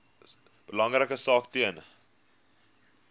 belangrike taak ten